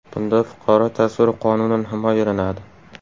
Bunda fuqaro tasviri qonunan himoyalanadi.